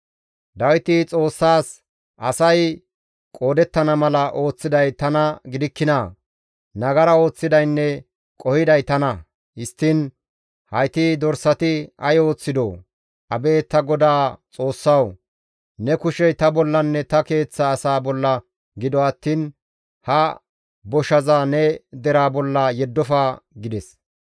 Dawiti Xoossaas, «Asay qoodettana mala ooththiday tana gidikkinaa? Nagara ooththidaynne qohiday tana; histtiin hayti dorsati ay ooththidoo? Abeet ta Godaa Xoossawu! Ne kushey ta bollanne ta keeththa asaa bolla gido attiin ha boshaza ne deraa bolla yeddofa» gides.